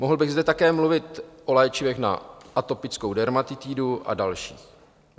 Mohl bych zde také mluvit o léčivech na atopickou dermatitidu a dalších.